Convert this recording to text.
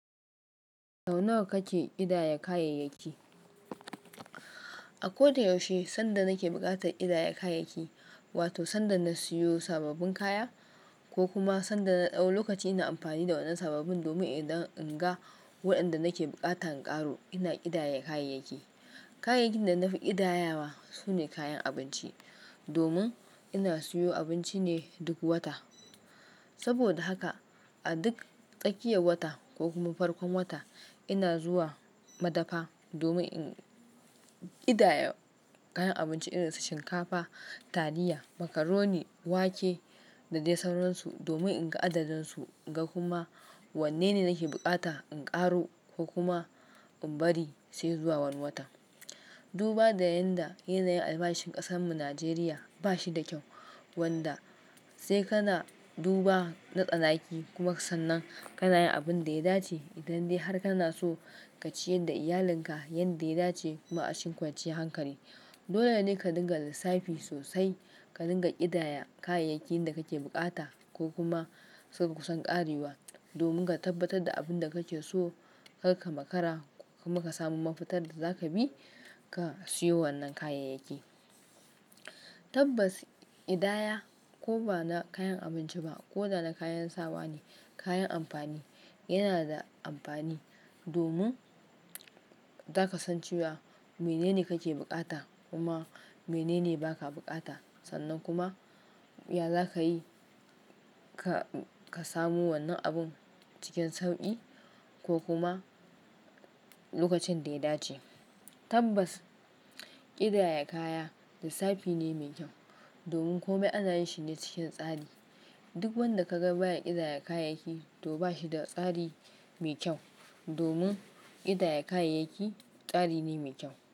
Sau nawa kake ƙidaya kayayyaki? A koda yaushe sanda nake buƙatar ƙidaya kayayyaki, wato sanda na siyo sababbin kaya ko kuma sanda na ɗau lokaci ina amfani da wannan sababbin domin idan in ga waɗanda nake bukata in ƙaro, ina ƙidaya kayayyaki. Kayayyakin da na fi ƙidayawa sune kayan abinci, domin ina siyo abinci ne duk wata. Saboda haka a duk tsakiyar wata ko kuma farkon wata ina zuwa madafa domin in ƙidaya kayan abinci irin su shinkafa, taliya, macaroni, wake da dai sauransu domin in ga adadinsu, in ga kuma wanne ne nake bukata in ƙaro ko kuma in bari sai zuwa wani wata. Duba da yadda yanayin albashin ƙasanmu Najeriya ba shi da kyau, wanda sai kana duba na tsanaki kuma ka san nan kana yin abin da ya dace idan dai har kana so ka ciyar da iyalinka yanda ya dace kuma a cikin kwanciyar hankali. Dole ne ka dinga da lissafi sosai, ka dinga idaya kayayakin da kake buƙata ko kuma suka kusan ƙarewa domin ka tabbatar da abin da kake so, kar ka maka ra kuma ka samo mafitar da zaka bi ka siyo wannan kayayyaki. Tabbas ƙidaya ko ba na kayan abinci ba ko da na kayan sawa ne, kayan amfani, yana da amfani domin zaka san cewa mene ne kake buƙata kuma mene ne ba ka buƙata. Sannan kuma ya za ka yi ka samu wannan abun cikin sauƙi ko kuma lokacin da ya dace. Tabbas ƙidaya kaya lissafi ne mai kyau domin kome ana yin shi ne cikin tsari. Duk wanda ka ga baya ƙidaya kayayyaki to ba shi da tsari mai kyau, domin ƙidaya kayayyaki tsari ne mai kyau.